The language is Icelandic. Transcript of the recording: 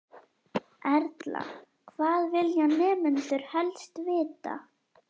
Erla: Hvað vilja nemendur helst vita?